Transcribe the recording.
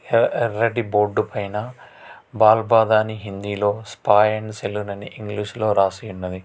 ఎర్ర ఎర్రటి బోర్డు పైన పాల్ పాదాన్ని హిందీలో స్పాయి అండ్ సెల్ అని ఇంగ్లీషులో రాసి ఉన్నది.